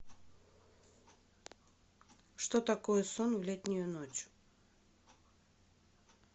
что такое сон в летнюю ночь